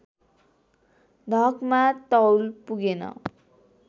ढकमा तौल पुगेन